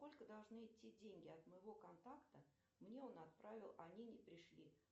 сколько должны идти деньги от моего контакта мне он отправил а они не пришли